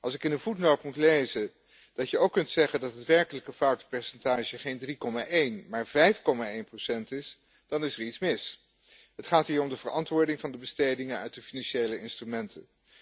Als ik in een voetnoot moet lezen dat je ook kunt zeggen dat het werkelijke foutenpercentage geen 3,1 maar 5,1 procent is, dan is er iets mis. Het gaat hier om de verantwoording van de bestedingen uit de financiële instrumenten.